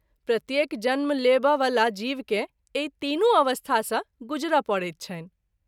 प्रत्येक जन्म लेब’ वला जीव के एहि तीनू अवस्था सँ गूजर’ परैत छनि।